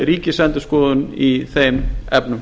ríkisendurskoðun í þeim efnum